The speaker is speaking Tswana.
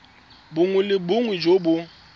bongwe le bongwe jo bo